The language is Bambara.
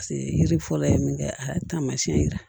yiri fɔlɔ ye min kɛ a ye taamasiyɛn yiran